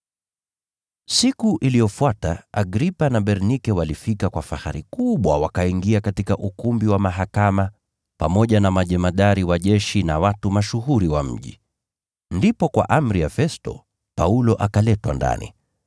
Siku iliyofuata Agripa na Bernike walifika kwa fahari kubwa wakaingia katika ukumbi wa mahakama, pamoja na majemadari wa jeshi na watu mashuhuri wa mji. Ndipo kwa amri ya Festo, Paulo akaletwa ndani.